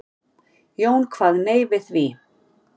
Jón kvað nei við því.